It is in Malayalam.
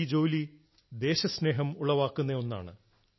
ഈ ജോലി ദേശസ്നേഹം ഉളവാക്കുന്ന ഒന്നാണ്